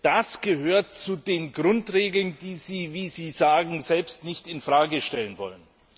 Das gehört zu den Grundregeln, die Sie, wie Sie sagen, selbst nicht in Frage stellen wollen.